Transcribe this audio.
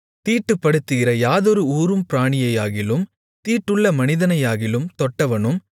தீட்டுப்படுத்துகிற யாதொரு ஊரும் பிராணியையாகிலும் தீட்டுள்ள மனிதனையாகிலும் தொட்டவனும்